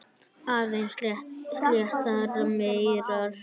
Aðeins sléttar mýrar.